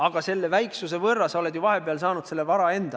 Aga selle väiksuse võrra oled sa ju vahepeal endale teisest sambast vara saanud.